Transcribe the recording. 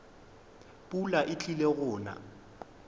pula e tlile go na